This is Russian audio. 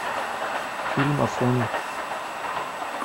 фильм афоня